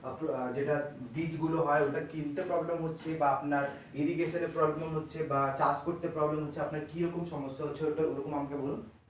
যেটা বীজ গুলো হয় ওগুলো কিনতে problem হচ্ছে বা আপনার irrigation এ problem হচ্ছে বাঃ চাসকরতে problem হচ্ছে আপনার কিরকম সমস্যা হচ্ছে ওটা ওরকম আমাকে বলুন?